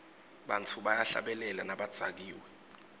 bantfu bayahlabela nabadzakiwe